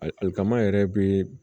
Alikama yɛrɛ be